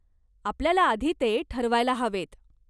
आपल्याला आधी ते ठरवायला हवेत.